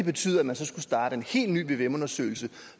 betyder at man så skulle starte en helt ny vvm undersøgelse